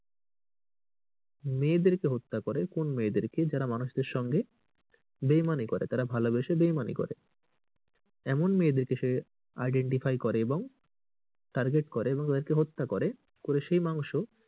মেয়েদের কে হত্যা করে কোন মেয়েদের কে যারা মানুষদের সঙ্গে বেইমানি করে তারা ভালোবেশে বেইমানি করে এমন মেয়েদেরকে সে identify করে এবং target করে এবং তাকে হত্যা করে সেই মাংস,